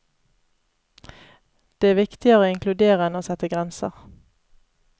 Det er viktigere å inkludere enn å sette grenser.